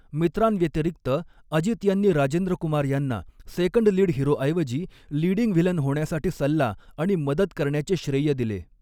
मित्रांव्यतिरिक्त, अजित यांनी राजेंद्र कुमार यांना second lead हिरोऐवजी लीडिंग व्हिलन होण्यासाठी सल्ला आणि मदत करण्याचे श्रेय दिले.